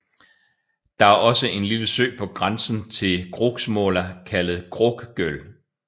Der er også en lille sø på grænsen til Kroksmåla kaldet Kråkgöl